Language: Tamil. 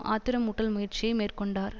ஆத்திரமூட்டல் முயற்சியை மேற்கொண்டார்